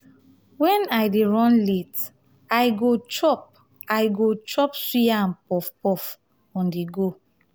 when i dey run late i go chop i go chop suya or puff-puff on-the-go.